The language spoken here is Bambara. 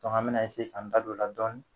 an bɛn'a k'an da don o la dɔɔnin